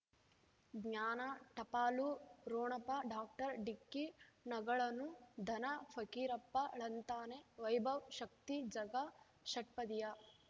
ಜ್ಞಾನ ಟಪಾಲು ರೋಣಪ ಡಾಕ್ಟರ್ ಢಿಕ್ಕಿ ಣಗಳನು ಧನ ಫಕೀರಪ್ಪ ಳಂತಾನೆ ವೈಭವ್ ಶಕ್ತಿ ಝಗಾ ಷಟ್ಪದಿಯ